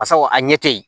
Basa a ɲɛ te yen